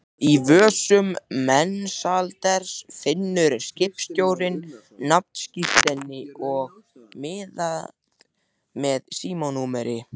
Í vösum Mensalders finnur skipstjórinn nafnskírteini og miða með símanúmeri.